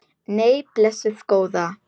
Nei, blessuð góða.